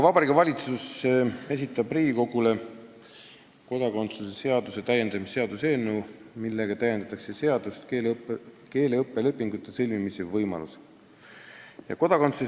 Vabariigi Valitsus esitab Riigikogule kodakondsuse seaduse täiendamise seaduse eelnõu, millega täiendatakse seadust keeleõppelepingute sõlmimise võimalusega.